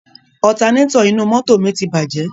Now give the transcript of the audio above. Ọtanétọ̀ inú mọ́tò mi ti bàjẹ́.